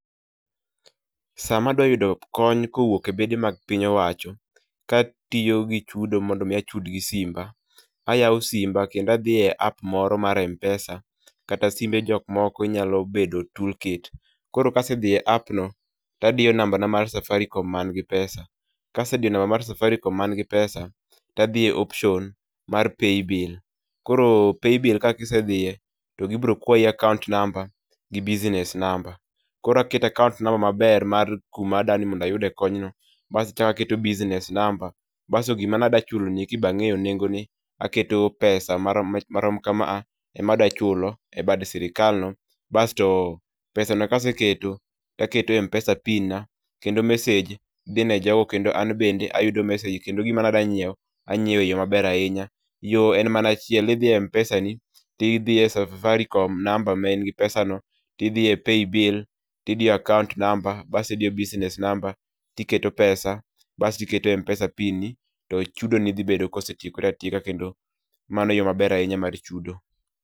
Sama adwa yudo kony kowuok.e bede mag piny owacho katiyo gi chudo mondo mi achud gi simba kendo adhie app moro mar Mpesa kata simbe jok moko inyalo bedo toolkit. Koro kasedhiye app no tadiyo namba na mar safaricom man gi pesa, kasediyo namba na mar Safaricom man gi pesa tadiyo option mar paybill[csc],koro paybill kasedhiye to gibiro kwayi akaunt namba gi business namba. Koro aketa akaunt namba maber mar kuma dwani mondo ayude kony no bas achak aket business namba bas gima nadwa chudo nieki be angeyo nengone, aketo pesa marom kamae ema adwa chulo e bad sirkal no, basto pesano kasechulo taketo Mpesa pin na kendo message dhi ne jgo kendo an bende ayudi message kendo gima nadwa nyiew anyiew e yo maber ahinya. Yoo en mana achiel, idhi e Mpesa ni tidhi e safaricom namba manigi pesano tidgi e paybill tidiyo akaunt namba asto idiyo business namba tiketo pesa basti iketo Mpesa pin ni to chudoni dhi bedo kosetiekore atieka kendo mano e yoo maber ahinya mar chudo